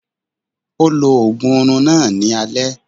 Ó lo ògùn orun náà ní alẹ́